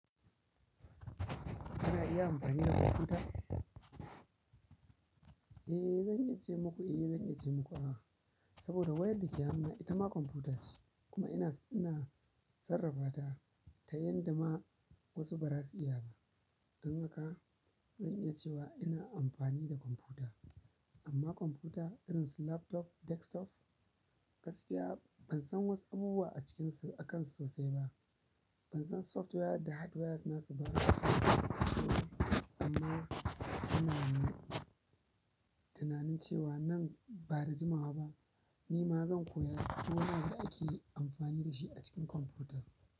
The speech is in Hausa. Kana iya anfani da kwamfuta? Eh zan iya ce muku eh zan iya ce muku a'a saboda wayar dake hannu na itama kwamfutace kuma ina sarrafata tayanda ma wasu bazasu iya ba don haka zan iya cewa ina amfani da kwamfuta. Amma kwamfuta irin su laptop, desktop gaskiya ban san wasu abubuwa a cikinsu, akansu sosai ba. Ban san software da hardware nasu ba. Amma ina tinanin cewa nan bada jimawa ba ni ma zan koya duk wani da ake amfani da shi a cikin kwamfuta.